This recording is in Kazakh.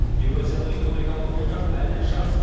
еуразиялық экономикалық одақ әлі жас